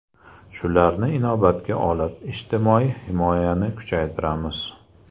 Shularni inobatga olib, ijtimoiy himoyani kuchaytiramiz.